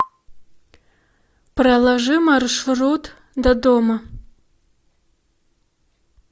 проложи маршрут до дома